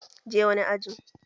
Je wani ajin!